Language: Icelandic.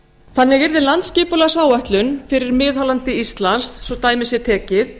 þannig yrði landsskipulagsáætlun fyrir miðhálendi íslands svo dæmi sé tekið